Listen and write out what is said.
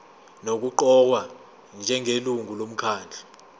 nokuqokwa njengelungu lomkhandlu